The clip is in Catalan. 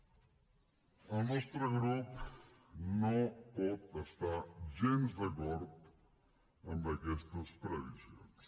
el nostre grup no pot estar gens d’acord amb aquestes previsions